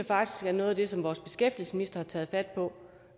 faktisk at noget af det som vores beskæftigelsesminister har taget fat på